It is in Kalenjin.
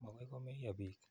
Makoi komeyo piik.